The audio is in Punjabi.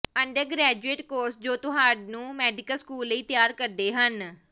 ਅੰਡਰਗ੍ਰੈਜੁਏਟ ਕੋਰਸ ਜੋ ਤੁਹਾਨੂੰ ਮੈਡੀਕਲ ਸਕੂਲ ਲਈ ਤਿਆਰ ਕਰਦੇ ਹਨ